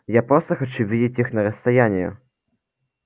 я просто хочу видеть их на расстоянии